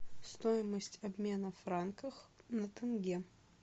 стоимость обмена франков на тенге